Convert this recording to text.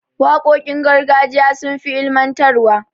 Waƙoƙin gargajiya sun fi ilimantarwa.